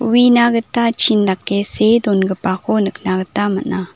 uina gita chin dake see dongipako nikna gita man·a.